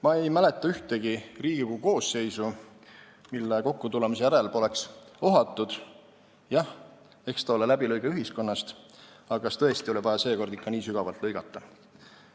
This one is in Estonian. Ma ei mäleta ühtegi Riigikogu koosseisu, mille kokkutulemise järel poleks ohatud: jah, eks ta ole läbilõige ühiskonnast, aga kas tõesti oli vaja seekord ikka nii sügavalt lõigata.